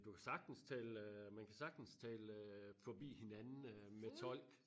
Du kan sagtens tale øh man kan sagtens tale øh forbi hinanden øh med tolk